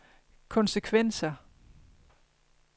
konsekvenser